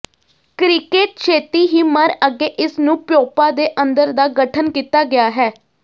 cricket ਛੇਤੀ ਹੀ ਮਰ ਅੱਗੇ ਇਸ ਨੂੰ ਪਿਊਪਾ ਦੇ ਅੰਦਰ ਦਾ ਗਠਨ ਕੀਤਾ ਗਿਆ ਹੈ